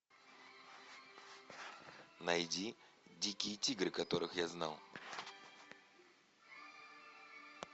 найди дикие тигры которых я знал